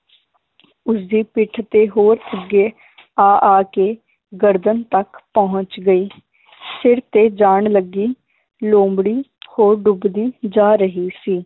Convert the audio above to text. ਉਸਦੀ ਪਿੱਠ ਤੇ ਹੋਰ ਅੱਗੇ ਆ ਆ ਕੇ ਗਰਦਨ ਤੱਕ ਪਹੁੰਚ ਗਈ ਸਿਰ ਤੇ ਜਾਨ ਲੱਗੀ ਲੋਮੜੀ ਹੋਰ ਡੁੱਬਦੀ ਜਾ ਰਹੀ ਸੀ